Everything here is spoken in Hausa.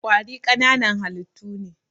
Ƙwari ƙananan halittu ne.